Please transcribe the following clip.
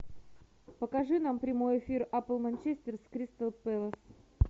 покажи нам прямой эфир апл манчестер с кристал пэлас